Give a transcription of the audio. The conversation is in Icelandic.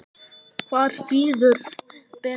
Hver bíður betur?